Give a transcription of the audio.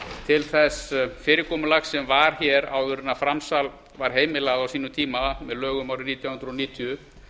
til þess fyrirkomulags sem var hér áður en framsal var heimilað á sínum tíma með lögum árið nítján hundruð níutíu